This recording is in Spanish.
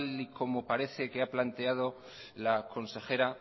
como parece que ha planteado la consejera